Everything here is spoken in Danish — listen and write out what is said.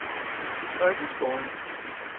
folkeskolen